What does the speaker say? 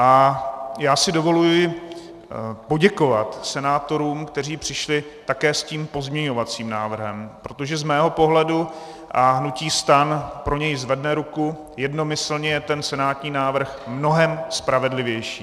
A já si dovoluji poděkovat senátorům, kteří přišli také s tím pozměňovacím návrhem, protože z mého pohledu, a hnutí STAN pro něj zvedne ruku, jednomyslně je ten senátní návrh mnohem spravedlivější.